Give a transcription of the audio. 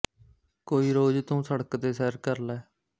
ਕੋਈ ਰੋਜ਼ ਤੂੰ ਸੜਕ ਤੇ ਸੈਰ ਕਰ ਲੈ